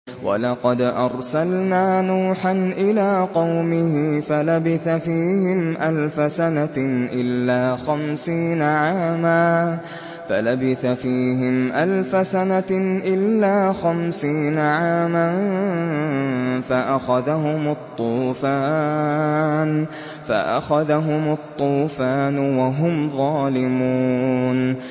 وَلَقَدْ أَرْسَلْنَا نُوحًا إِلَىٰ قَوْمِهِ فَلَبِثَ فِيهِمْ أَلْفَ سَنَةٍ إِلَّا خَمْسِينَ عَامًا فَأَخَذَهُمُ الطُّوفَانُ وَهُمْ ظَالِمُونَ